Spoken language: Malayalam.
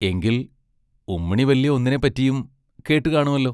എങ്കിൽ ഉമ്മിണി വല്യ ഒന്നിനെപ്പറ്റിയും കേട്ടു കാണുമല്ലോ!